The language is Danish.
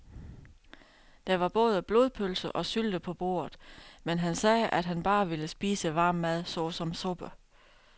Der var både blodpølse og sylte på bordet, men han sagde, at han bare ville spise varm mad såsom suppe.